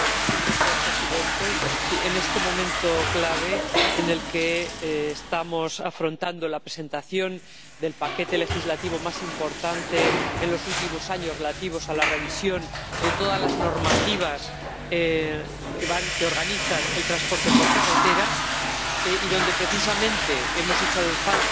Señor presidente, en este momento clave en el que estamos abordando la presentación del paquete legislativo más importante de los últimos años, relativo a la revisión de todas las normativas que organizan el transporte por carretera y donde precisamente hemos echado en falta